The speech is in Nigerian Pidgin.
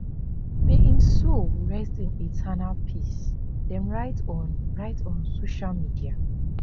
may im soul rest in eternal peace dem write on write on social media